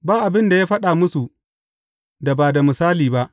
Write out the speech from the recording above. Ba abin da ya faɗa musu, da ba da misali ba.